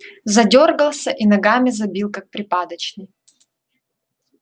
задёргался и ногами забил как припадочный